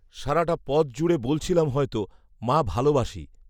সারাটা পথজুড়ে বলছিলাম হয়তো, 'মা, ভালোবাসি'